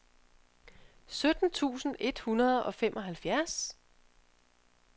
sytten tusind et hundrede og femoghalvfjerds